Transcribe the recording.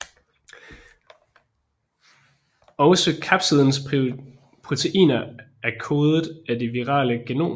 Også kapsidens proteiner er kodet af det virale genom